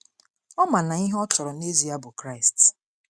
Ọ ma na ihe ọ chọrọ n’ezie bụ Kraịst.